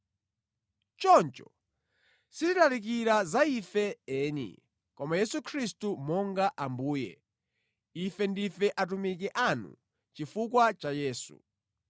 Choncho sitilalikira za ife eni, koma Yesu Khristu monga Ambuye, ife ndife atumiki anu chifukwa cha Yesu.